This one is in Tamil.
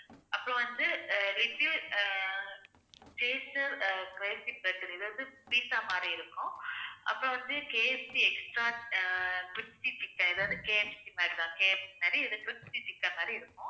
அப்புறம் வந்து அதாவது pizza மாதிரி இருக்கும். அப்புறம் வந்து KFCextot crispy chicken அதாவது KFC மாதிரி KFC மாதிரி crispy chicken மாதிரி இருக்கும்.